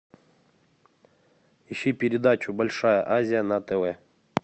ищи передачу большая азия на тв